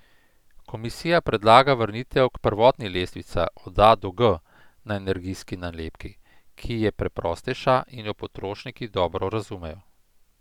Komisija predlaga vrnitev k prvotni lestvici od A do G na energijski nalepki, ki je preprostejša in jo potrošniki dobro razumejo.